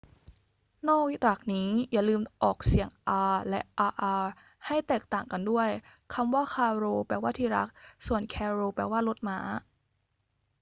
นอกจากนี้ อย่าลืมออกเสียง r และ rr ให้แตกต่างกันด้วย คำว่า caro แปลว่าที่รัก ส่วน carro แปลว่ารถม้า